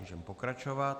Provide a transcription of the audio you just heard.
Můžeme pokračovat.